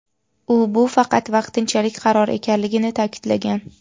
U bu faqat vaqtinchalik qaror ekanligini ta’kidlagan.